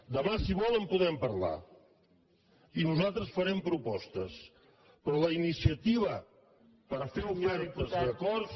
demà si vol en podem parlar i nosaltres farem propostes però la iniciativa per fer ofertes d’acords